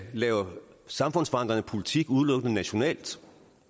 lave samfundsforandrende politik nationalt